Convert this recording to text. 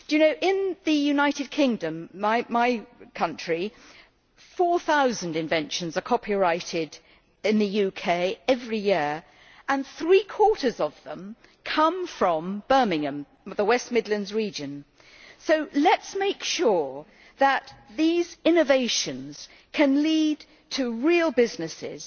Do you know that in the United Kingdom my country four thousand inventions are copyrighted every year, and three quarters of them come from Birmingham and the West Midlands region? So let us make sure that these innovations can lead to real businesses